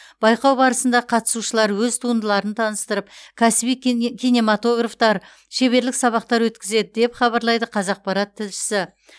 байқау барысында қатысушылар өз туындыларын таныстырып кәсіби кине киноматографтар шеберлік сабақтар өткізеді деп хабарлайды қазақпарат тілшісі